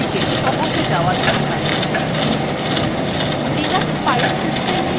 linux file system নিয়ে কাজ করলে মনে হয় যে আমরা we system tree বরাবর চলছি